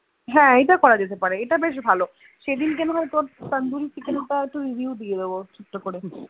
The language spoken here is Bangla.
হ্যান ইটা করা যেতে পারে ইটা বেশ ভালো সেদিন কে তোর Tandoori chicken তা Review দিয়েদেৱ ছোট করে সেটাই তো একদম